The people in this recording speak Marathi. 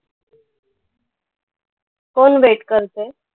कोण wait करतंय?